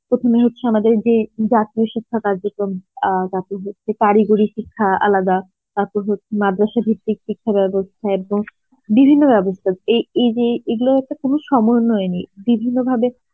প্রথমে হচ্ছে আমাদের যে জাতীয় শিক্ষা কার্যক্রম আ যে কারিগরী শিক্ষা আলাদা তাপর হ~ মাদ্রাসা ভিত্তিক শিক্ষা বেবস্থা এর পর, বিভিন্ন বেবস্থা এ এই যে এগুলোর একটা কোনো সমর্নয়ে নেই বিভিন্ন ভাবে